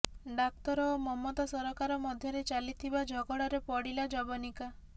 ଡାକ୍ତର ଓ ମମତା ସରକାର ମଧ୍ୟରେ ଚାଲିିଥିବା ଝଗଡାରେ ପଡିଲା ଯବନିକା